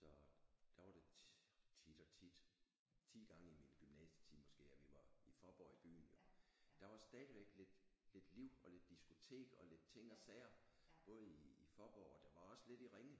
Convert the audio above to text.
Så der var det tit og tit 10 gange i min gymnasietid måske at vi var i Faaborg i byen jo der var stadigvæk lidt lidt liv og lidt diskotek og lidt ting og sager både i Faaborg og der var også lidt i Ringe